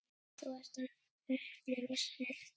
Þú ert að upplifa snilld.